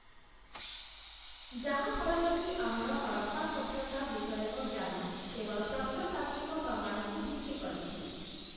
ଯାହା ଫଳରେ କି, ଆମର ହରପ୍ପା ସଭ୍ୟତା ବିଷୟକ ଜ୍ଞାନ କେବଳ ପ୍ରତ୍ନତାତ୍ତ୍ୱିକ ପ୍ରମାଣକୁ ଭିତ୍ତି କରିଛି ।